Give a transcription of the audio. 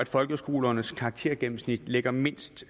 folkeskolernes karaktergennemsnit ligger mindst